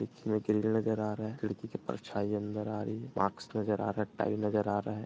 इसमें नजर आ रहा है। खिड़की से परछाई अंदर आ रही हैं। मार्क्स नजर आ रहा हैं। टाइल्स नजर आ रहा हैं।